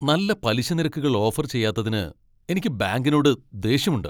നല്ല പലിശ നിരക്കുകൾ ഓഫർ ചെയ്യാത്തതിന് എനിക്ക് ബാങ്കിനോട് ദേഷ്യമുണ്ട്.